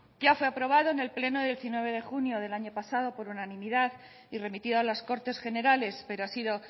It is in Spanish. ya fue aprobado en el pleno de diecinueve de junio del año pasado por unanimidad y remitido a las cortes generales pero ha sido